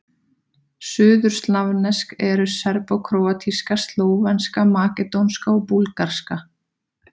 Suðurslavnesk eru: serbókróatíska, slóvenska, makedónska og búlgarska.